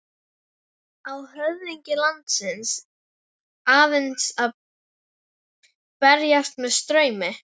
Á höfðingi landsins aðeins að berast með straumi?